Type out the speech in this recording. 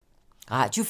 Radio 4